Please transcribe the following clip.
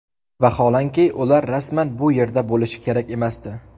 Vaholanki, ular rasman bu yerda bo‘lishi kerak emasdi.